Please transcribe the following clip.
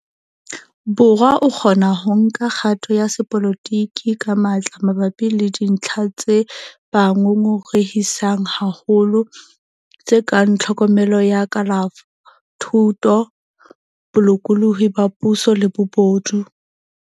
Borwa a kgona ho nka kgato ya sepolotiki ka matla mabapi le dintlha tse ba ngongorehisang haholo, tse kang tlhokomelo ya kalafo, thuto, bolokolohi ba puo le bobodu.